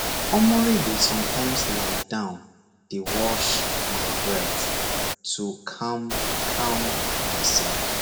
omori dey sometimes lie down dey wash my breath to calm calm myself